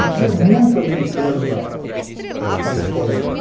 E tinha muito americano lá nesse colégio.